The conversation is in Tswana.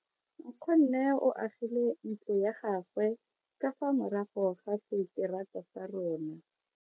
Nkgonne o agile ntlo ya gagwe ka fa morago ga seterata sa rona.